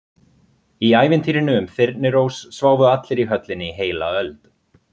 Í ævintýrinu um Þyrnirós sváfu allir í höllinni í heila öld.